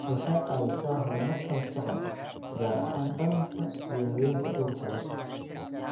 Waxay caawisaa horumarka maskaxda, gaar ahaan dhallaanka iyo haweenka uurka leh.